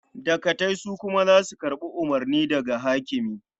Dagatai su kuma za su karɓi umurni daga hakimi.